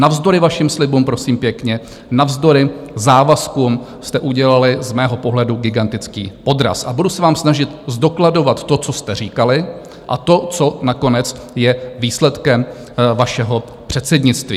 Navzdory vašim slibům, prosím pěkně, navzdory závazkům jste udělali z mého pohledu gigantický podraz, a budu se vám snažit zdokladovat to, co jste říkali, a to, co nakonec je výsledkem vašeho předsednictví.